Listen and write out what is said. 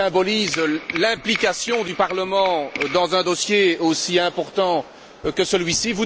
Ils symbolisent l'implication du Parlement dans un dossier aussi important que celui ci.